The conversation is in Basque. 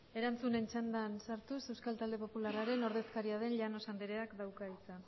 erantzunen txandan sartuz euskal talde popularraren ordezkaria den llanos andereak dauka hitza